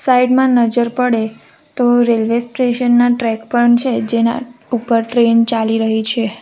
Side માં નજર પડે તો રેલ્વે સ્ટેશન ના ટ્રેક પણ છે જેના ઉપર ટ્રેન ચાલી રહી છે.